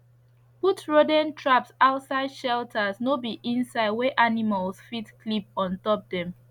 put rodent traps outside shelters no be inside wey animals fit clip on top dem